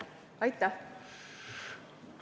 Aitäh!